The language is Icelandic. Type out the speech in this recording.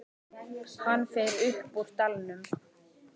Hann fer upp úr dalnum.